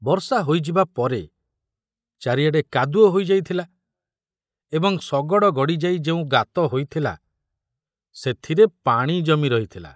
ବର୍ଷା ହୋଇଯିବା ପରେ ଚାରିଆଡ଼େ କାଦୁଅ ହୋଇ ଯାଇଥିଲା ଏବଂ ଶଗଡ଼ ଗାଡ଼ି ଯାଇ ଯେଉଁ ଗାତ ହୋଇଥିଲା ସେଥିରେ ପାଣି ଜମି ରହିଥିଲା।